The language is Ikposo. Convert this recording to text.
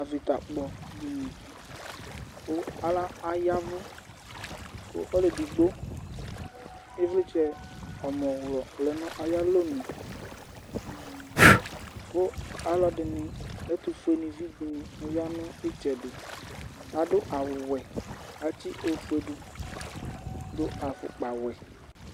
Avitakpɔdínì ku ayavù, ku ɔlu edigbo ivlitsɛ ɔmɔwlɔ lɛ nu ayi alɔnu ,ku aluɛdini, ɛtufue nivi dini aya nu itsɛdi, adu awù wɛ, atsi ofue du, dù afukpa wɛ